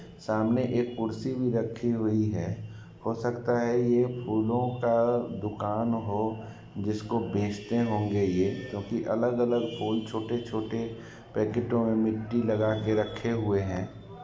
सामने एक कुर्सी भी रखी हुई है हो सकता है| यह फूलों का दुकान हो जिसको बेचते होंगे ये क्योंकि अलग-अलग फूल छोटे-छोटे पैकेटो मिट्टी लगा के रखे हुए है।